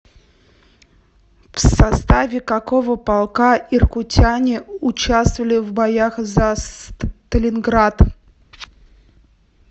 в составе какого полка иркутяне участвовали в боях за сталинград